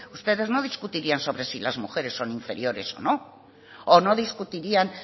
ustedes no discutirían sobre si las mujeres son inferiores o no o no discutirían